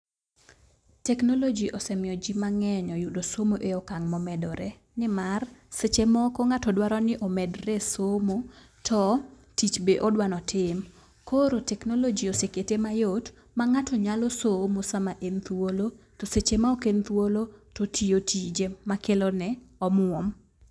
Technology osemiyo jii mang'eny oyudo somo e okang' momedore nimar, seche moko ng'ato dwaro ni omedre e somo to tich be odwano tim. Koro technology osekete mayot ma ng'ato nyalo somo sama en thuolo, to seche ma ok en thuolo to otiyo tije ma kelo ne omwom.